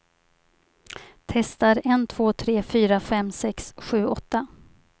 Testar en två tre fyra fem sex sju åtta.